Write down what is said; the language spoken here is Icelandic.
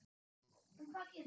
En hvað gerist þá?